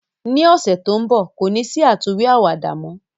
Ni ọsẹ to nbọ, ko ni si àtúnwí àwàdà mọ.